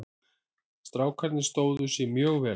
Strákarnir stóðu sig mjög vel.